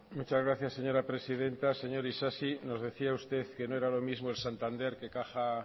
muchas gracias señora presidenta señor isasi nos decía usted que no era lo mismo el santander que caja